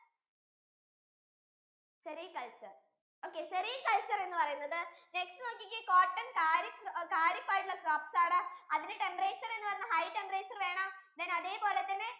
cericulture okay, cericulture എന്ന് പറയുന്നത് next നോക്കിക്കേ cotton kharif~kahrif ആയിട്ടുള്ള crops ആണ് അതിനു temperature എന്ന് പറയുന്നത് high temperature വേണം then അതെ പോലെ തന്നെ